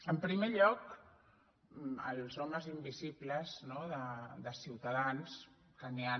en primer lloc els homes invisibles no de ciutadans que ni han